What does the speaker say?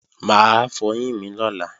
Mà á fọyín mi lọ́la